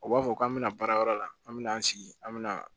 U b'a fɔ k'an bɛna baarayɔrɔ la an bɛ n'an sigi an bɛna